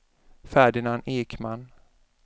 Ferdinand Ekman